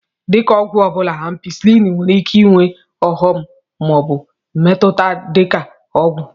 Dị ka ọgwụ ọbụla, Ampisilin nwere ike ịnwe ọghọm ma ọ bụ mmetụta dị ka ọgwụ.